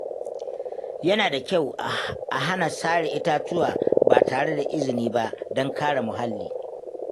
Yana da kyau a hana sare itatuwa ba tare da izini ba don kare muhalli.